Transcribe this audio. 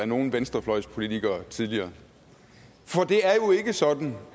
nogen venstrefløjspolitiker tidligere for det er jo ikke sådan